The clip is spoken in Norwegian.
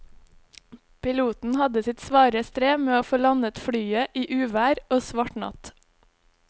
Piloten hadde sitt svare strev med å få landet flyet i uvær og svart natt.